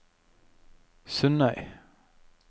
Sundøy